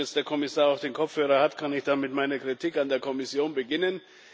Nachdem jetzt der Kommissar auch den Kopfhörer hat, kann ich mit meiner Kritik an der Kommission beginnen.